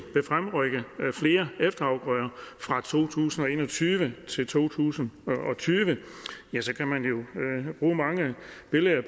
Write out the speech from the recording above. vil fremrykke flere efterafgrøder fra to tusind og en og tyve til to tusind og tyve kan man jo bruge mange billeder